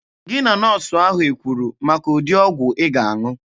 Gị na nọọsụ ahụ ekwuru maka ụdị ọgwụ ị ga-aṅụ?